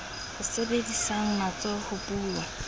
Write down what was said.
ba sebedisang matsoho ho buwa